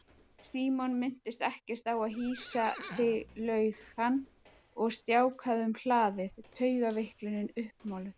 Símon minntist ekkert á að hýsa þig laug hann og stjáklaði um hlaðið, taugaveiklunin uppmáluð.